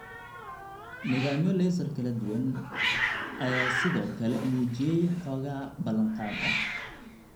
Nidaamyo laser kala duwan (CO2 iyo erbiumYAG) ayaa sidoo kale muujiyay xoogaa ballanqaad ah.